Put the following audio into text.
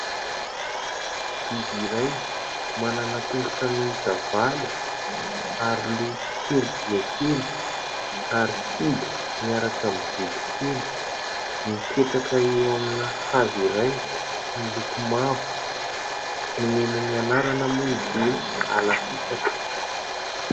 Biby iray: manana tongotra miisa valo; ary loha kely dia kely; ary kibo miaraka amin'ny vody kely; mipetraka eo amina hazo iray miloko mavo. Nomenay anarana moa izy io hoe alafisaka.